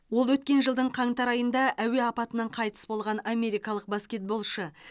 ол өткен жылдың қаңтар айында әуе апатынан қайтыс болған америкалық баскетболшы